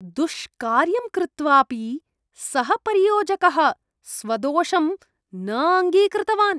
दुष्कार्यं कृत्वापि सः परियोजकः स्वदोषं न अङ्गीकृतवान्।